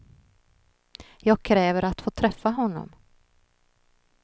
Jag kräver att få träffa honom.